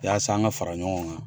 yasa an an ka fara ɲɔgɔn kan.